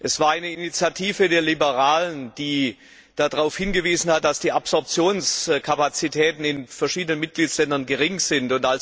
Es war eine Initiative der Liberalen, die darauf hingewiesen hat, dass die Absorptionskapazitäten in verschiedenen Mitgliedstaaten gering sind.